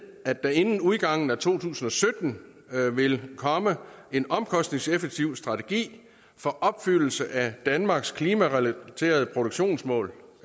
at der inden udgangen af to tusind og sytten vil komme en omkostningseffektiv strategi for opfyldelse af danmarks klimarelaterede reduktionsmål